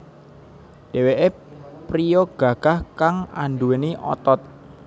Dheweké priya gagah kang anduweni otot